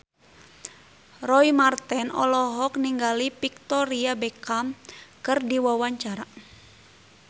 Roy Marten olohok ningali Victoria Beckham keur diwawancara